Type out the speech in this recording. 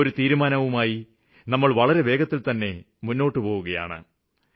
ആ തീരുമാനവുമായി സര്ക്കാര് വളരെ വേഗത്തില്ത്തന്നെ മുമ്പോട്ട് പോയിട്ടുണ്ട്